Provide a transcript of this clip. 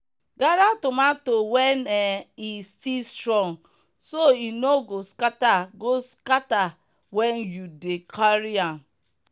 gather tomato when um e still strong so e no go scatter go scatter when you dey carry am.